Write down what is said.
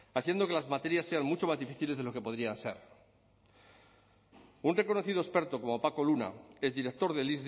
haciendo que las materias sean mucho más difíciles de lo que podrían ser un reconocido experto como paco luna el director del